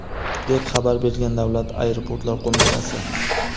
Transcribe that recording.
deb xabar bergan Davlat aeroportlar boshqarmasi.